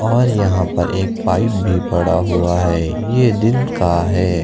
और यहां पर एक पाइप भी पड़ा हुआ है यह दिन का है।